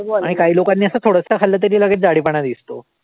आणि काही लोकांनी असं थोडसं खाल्लं तरी लगेच जाडेपणा दिसतो.